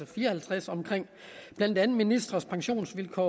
fire og halvtreds omkring blandt andet ministres pensionsvilkår